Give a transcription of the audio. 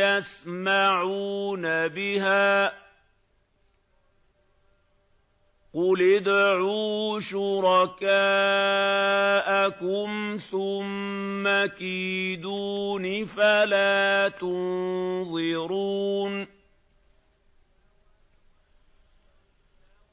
يَسْمَعُونَ بِهَا ۗ قُلِ ادْعُوا شُرَكَاءَكُمْ ثُمَّ كِيدُونِ فَلَا تُنظِرُونِ